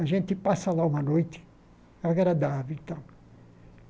A gente passa lá uma noite agradável e tal.